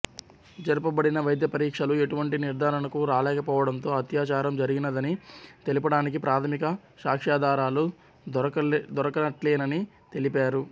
జరుపబడిన వైద్యపరీక్షలు ఎటువంటి నిర్ధారణకు రాలేకపోవటంతో అత్యాచారం జరిగినదని తెలుపటానికి ప్రాథమిక సాక్ష్యాధారాలు దొరకనట్లేనని తెలిపారు